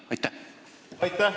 Aitäh!